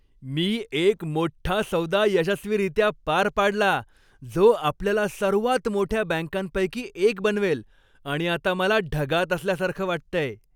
मी एक मोठ्ठा सौदा यशस्वीरित्या पार पाडला, जो आपल्याला सर्वात मोठ्या बँकांपैकी एक बनवेल आणि आता मला ढगात असल्यासारखं वाटतंय.